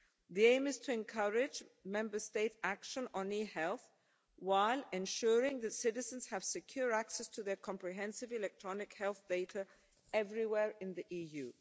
The aim is to encourage Member State action on e-health, while ensuring that citizens have secure access to their comprehensive electronic health data everywhere in the EU.